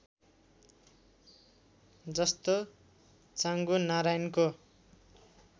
जस्तो चाँगुनारायणको